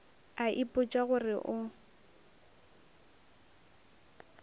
a ipotša go re o